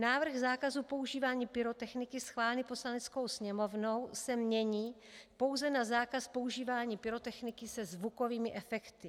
Návrh zákazu používání pyrotechniky schválený Poslaneckou sněmovnou se mění pouze na zákaz používání pyrotechniky se zvukovými efekty.